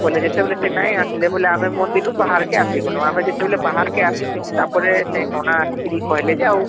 ବୋଇଲେ ଯେତେବେଳେ ସେ ନାଇଁ ଆସଲେ ଆମେ ଆମେ ମନ୍ଦିର ରୁ ବାହାର କେ ଅସିଗଲୁ ଆମେ ଯେତେବେଳେ ବାହାରକେ ଆସିଛୁ, ତାପରେ ସେ ନନା ଆସିକିରୀ କହିଲେ ଯେ